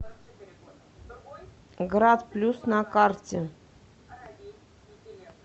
грат плюс на карте